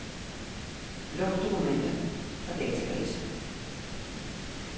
Luk dokument fra database.